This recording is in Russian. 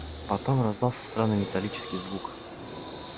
потом раздался странный металлический звук